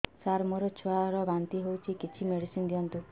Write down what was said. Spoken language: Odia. ସାର ମୋର ଛୁଆ ର ବାନ୍ତି ହଉଚି କିଛି ମେଡିସିନ ଦିଅନ୍ତୁ